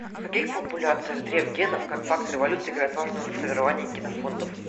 в каких популяциях дрейф генов как фактор эволюции играет важную роль в формировании их генофондов